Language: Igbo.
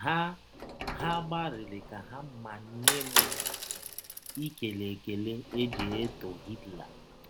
Ha Ha gbalịrị ka ha manye m ikele ekele e ji etọ Hitler.